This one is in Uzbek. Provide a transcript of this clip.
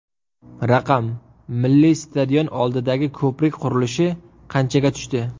Raqam: Milliy stadion oldidagi ko‘prik qurilishi qanchaga tushdi?.